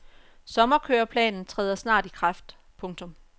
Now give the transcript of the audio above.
Sommerkøreplanen træder snart i kraft. punktum